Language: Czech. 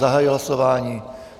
Zahajuji hlasování.